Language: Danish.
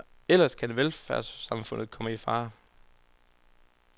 Ellers kan velfærdssamfundet komme i fare.